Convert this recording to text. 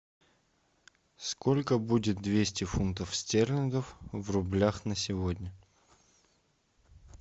сколько будет двести фунтов стерлингов в рублях на сегодня